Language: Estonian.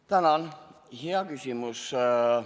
Tänan, hea küsimus!